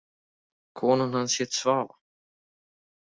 Konan hans hét Svava.